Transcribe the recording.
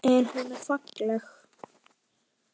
En hún er falleg.